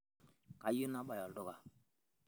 kayieu nabaya olduka